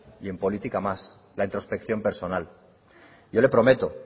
y en política más la introspección personal yo le prometo